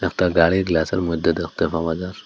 একটা গাড়ি গ্লাসের মইধ্যে দেখতে পাওয়া যার।